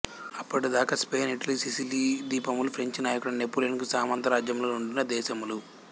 అప్పటిదాకా Spain Italy Sicily ద్వీపములు French నాయకుడైన నెపోలియన్ కు సామంతరాజ్యములుగా నుండిన దేశములు